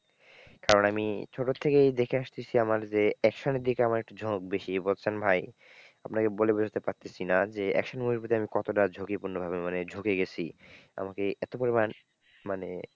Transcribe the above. কারণ আমি ছোটো থেকেই দেখে আসতেছি আমার যে action এর দিকে আমার একটু ঝোঁক বেশি বুঝছেন ভাই, আপনাকে বলে বোঝাতে পারতেছি না, যে action movie র প্রতি আমি কতটা ঝুঁকিপূর্ণভাবে মানে ঝুঁকে গেছি, আমাকে এতো পরিমাণ মানে,